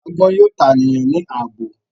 Agbọn yoo ta eniyan ni aabo